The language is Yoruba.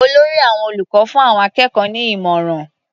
Olórí àwọn olùkọ́ fún àwọn akẹ́kọ̀ọ́ ní ìmọ̀ràn.